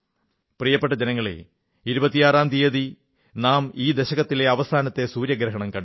പ്രിയപ്പെട്ട ജനങ്ങളേ 26ാം തീയതി നാം ഈ ദശകത്തിലെ അവസാനത്തെ സൂര്യഗ്രഹണം കണ്ടു